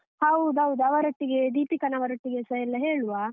ಹೌದೌದು, ಅವರೊಟ್ಟಿಗೆ ದೀಪಿಕನವರೊಟ್ಟಿಗೆಸ ಎಲ್ಲ ಹೇಳುವ.